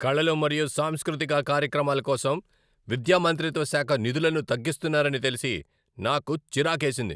కళలు మరియు సాంస్కృతిక కార్యక్రమాల కోసం విద్యా మంత్రిత్వ శాఖ నిధులను తగ్గిస్తున్నారని తెలిసి నాకు చిరాకేసింది.